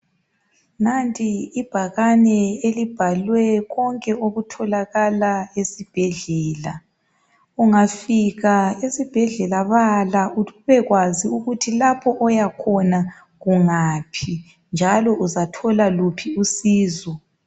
Nanti ibhakane elibhalwe konke okutholakala esibhedlela, ungafika esibhedlela bala ukuthi ubekwanzi ukuthi lapho oyakhona kungaphi njalo uzathola luphi usizo.